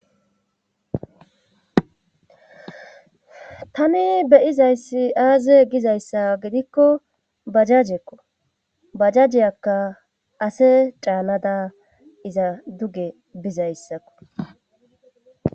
Tami beyizayssi aaze gizayssa gidikko bajajekko bajajeyakka ase caanada iza duge bizayssakko